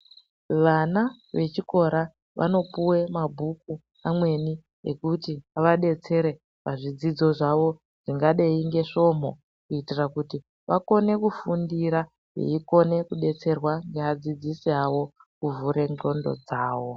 Vana vechikora, vanopuwe mabhuku amweni, ekuti avadetsere pazvidzidzo zvawo, zvingadai ngesvomho. Kuitira kuti vakone kufundira, veikone kudetserwa ngeadzidzisi awo kuvhure ngqondo dzavo.